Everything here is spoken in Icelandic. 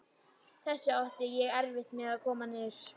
Þessu átti ég erfitt með að koma niður.